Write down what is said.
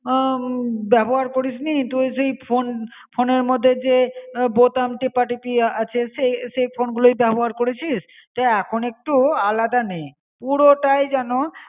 আ ব্যবহার করিসনি. তুই সে ফোন, ফোনএর মধে যে বোতাম টেপাটেপি আছে সে সে ফোন গুলোই ব্যবহার করেছিস. তা আ এখন একটু আলাদা নে. পুরোটাই যেন